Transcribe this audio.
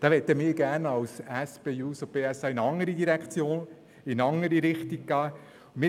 Diesbezüglich möchten wir von der SP-JUSO-PSA in eine andere Richtung gehen.